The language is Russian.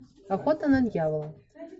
охота на дьявола